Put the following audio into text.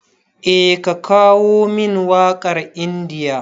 Eh ka kawo min waƙar India.